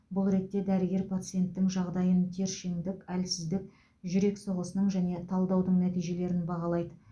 бұл ретте дәрігер пациенттің жағдайын тершеңдік әлсіздік жүрек соғысының және талдаудың нәтижелерін бағалайды